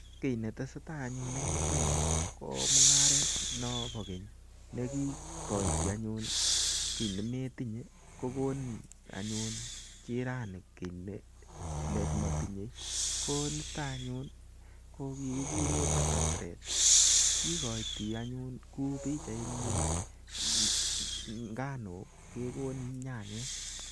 Kiy netesetai anyun en yuton yu ko mung'aret nebo keny ne ki koito anyun kiy nemetinye kogonin anyun jirani kiy ne kotinye. Ko niton anyun ko kigikuren barter trade Kigoito anyun kou pichaini nganuk kegonin nyanyik.